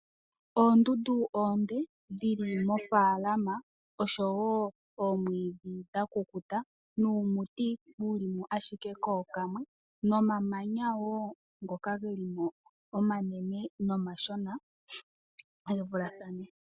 Oondundu oonde dhili mofaalama oshowo omwiidhi dhakukuta nuumuti wuli mo ashike kookamwe nomamanya wo ngoka geli mo omanene nomashona, gevulathane.